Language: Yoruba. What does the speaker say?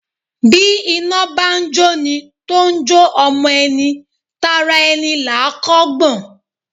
Bí iná bá ń jóni tó ń jó ọmọ ẹni, tara ẹni là á kọ́ gbọ̀n.